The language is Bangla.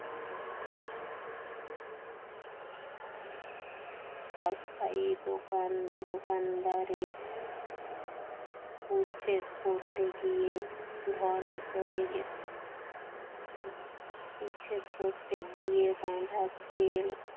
অস্থায়ী দোকান দোকানদারের উচ্ছেদ করতে গিয়ে ধরা পড়ে গেছে উপচে পড়তে গিয়ে বাঁধা তেল